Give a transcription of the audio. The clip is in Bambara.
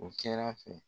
O kɛr'a fɛ